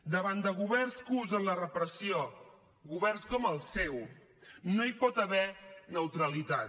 davant de governs que usen la repressió governs com el seu no hi pot haver neutralitat